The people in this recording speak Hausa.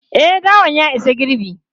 E, dawan ya isa girbi.